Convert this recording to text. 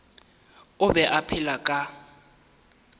o be a phela ka